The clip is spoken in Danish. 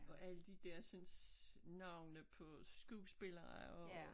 Og alle de der sådan navne på skuespillere og